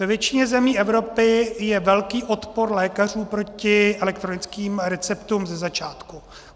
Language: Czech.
Ve většině zemí Evropy je velký odpor lékařů proti elektronickým receptům ze začátku.